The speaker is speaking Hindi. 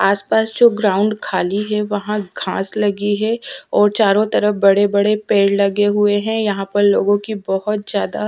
आस पास जो ग्राऊंड ख़ाली है वहा घास लगी है और चारो तरफ़ बडे-बडे पेड़ लगे हुए हैं यहाँ पर लोगो की बहुत ज्यादा --